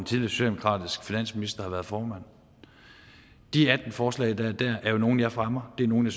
socialdemokratisk finansminister har været formand de atten forslag der er der er jo nogle jeg fremmer det er nogle